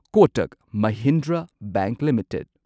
Kotak Mahindra bank limited